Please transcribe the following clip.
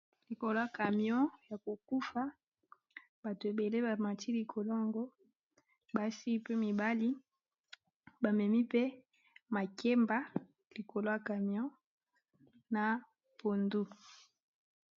likolo ya camion ya kokufa bato ebele bamati likolongo basi pe mibali bamemi pe makemba likolo ya camion na pondu